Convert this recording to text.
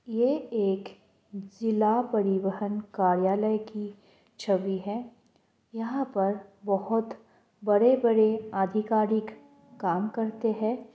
ये एक जिला परिवहन कार्यालय की छवि है यहाँ पर बोहोत बड़े-बड़े अधिकारिक काम करते है।